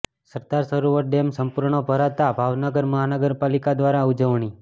સરદાર Sarovar dam સંપૂર્ણ ભરાતા ભાવનગર મહાનગરપાલિકા દ્વારા ઉજવણી